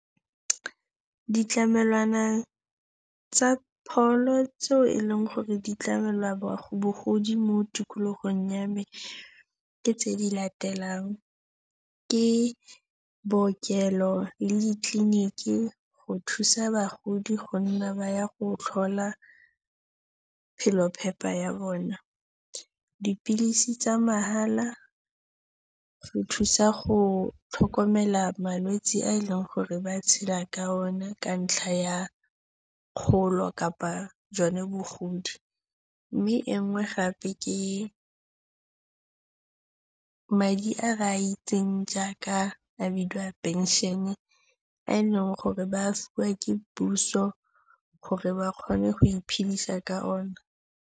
Ditlamelwana tsa pholo tseo e leng gore di tlamela bogodi mo tikologong ya me ke tse di latelang, ke bookelo le ditleliniki, go thusa bagodi go nna ba ya go tlhola phelophepa ya bona, dipilisi tsa mahala, go thusa go tlhokomela malwetsi a e leng gore ba tshela ka one ka ntlha ya kgolo kapa jone bogodi, mme e nngwe gape ke madi a re a itseng jaaka a bidiwa pension-e a eleng gore ba a fiwa ke puso gore ba kgone go iphedisa ka ona.